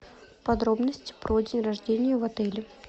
подробности про день рождения в отеле